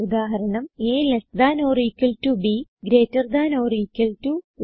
ഉദാഹരണം160 altb greater than or equal to